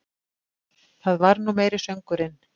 Það var nú meiri söngurinn!